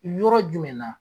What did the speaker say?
Yɔrɔ jumɛnɛna